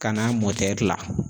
Ka n'a la.